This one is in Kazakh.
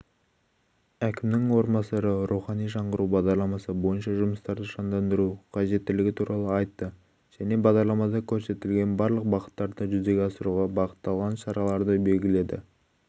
әкімнің орынбасары рухани жаңғыру бағдарламасы бойынша жұмыстарды жандандыру қажеттелігі туралы айтты және бағдарламада көрсетілген барлық бағыттарды жүзеге асыруға бағытталған шараларды белгіледі